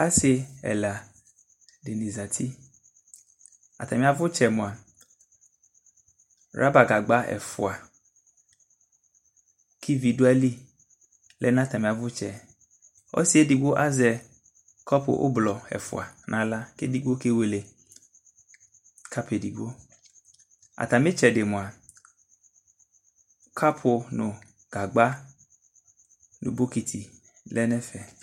Asi ɛla di ni zati Atami avʋtsɛ moa, raba gagba ɛfua kʋ ivi dʋ ayili lɛ nʋ atami avutsɛ Ɔsi edigbo azɛ kɔpʋ ʋblʋɔ ɛfua naɣla kʋ edigbo kewele kapʋ edigbo Atami etsɛ di moa kapʋ nʋ gagba nʋ bokiti lɛ nʋ ɛfɛ